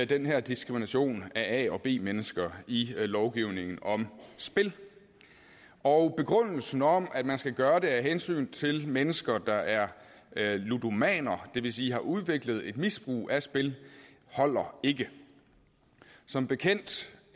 den her diskrimination af a og b mennesker i lovgivningen om spil og begrundelsen om at man skal gøre det af hensyn til mennesker der er ludomaner det vil sige som har udviklet et misbrug af spil holder ikke som bekendt